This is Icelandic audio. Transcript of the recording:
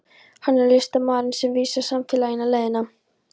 Hann er listamaðurinn sem vísar samfélaginu leiðina.